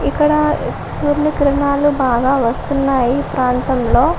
ఇక్కడ ఊరి బాగా వస్తున్నాయి ప్రాంతంలో.